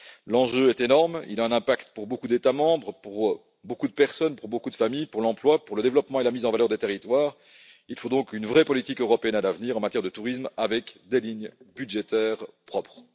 L'enjeu est énorme ce secteur a un impact pour beaucoup d'États membres, pour beaucoup de personnes, pour beaucoup de familles, pour l'emploi, pour le développement et la mise en valeur des territoires. Il faut donc à l'avenir une vraie politique européenne en matière de tourisme avec des lignes budgétaires propres.